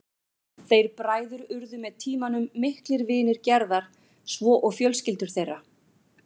Þeir bræður urðu með tímanum miklir vinir Gerðar svo og fjölskyldur þeirra.